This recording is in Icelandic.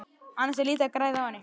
Annars er lítið að græða á henni.